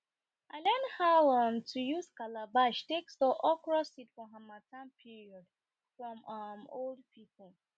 i learn how um to use calabash take store okro seed